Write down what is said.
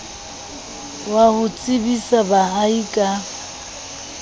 wa ho tsebisa baahi ka